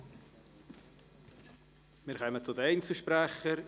Wir kommen zu den Einzelsprechern.